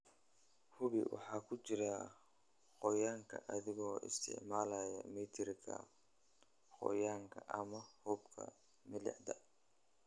Hubi waxa ku jira qoyaanka adigoo isticmaalaya mitirka qoyaanka ama habka milixda.